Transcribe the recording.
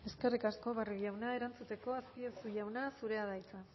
eskerrik asko barrio jauna erantzuteko azpiazu jauna zurea da hitza